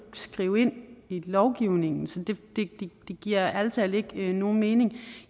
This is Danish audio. skrive ind i lovgivningen så det giver ærlig talt ikke nogen mening